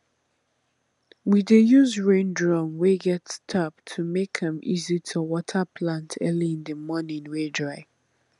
we use rain drum wey get tap to make am easy to water plant early in di morning wey dry